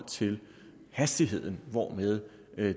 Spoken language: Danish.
til den hastighed hvormed